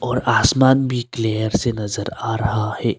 और आसमान भी क्लियर से नजर आ रहा है।